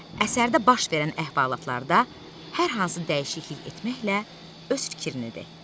Əsərdə baş verən əhvalatlarda hər hansı dəyişiklik etməklə öz fikrini de.